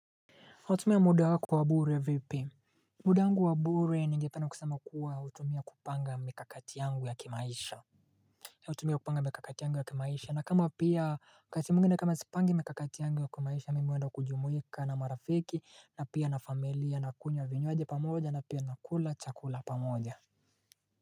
hUtumia muda wako wabure vipi Mudangu wabure ningependa kusema kuwa hutumia kupanga mikakati yangu ya kimaisha hUtumia kupanga mikakati yangu ya kimaisha na kama pia wakati mwingine na kama sipangi mikakati yangu ya kimaisha mimi huenda kujumuika na marafiki na pia na familia na kunywa vinywaji pamoja na pia na kula chakula pa moja.